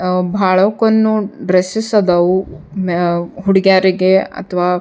ಅಂ ಭಾಳಕ್ಕೊನ್ನೋನ್ ಡ್ರೆಸ್ಸಸ್ ಅದಾವು ಮ್ಯ ಹುಡುಗಿಯಾರಿಗೆ ಅತ್ವಾ --